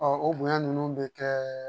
o bonya ninnu bɛ kɛ